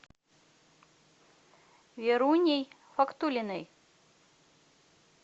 веруней фаткуллиной